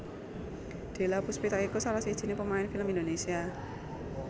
Della Puspita iku salah sijiné pemain film Indonesia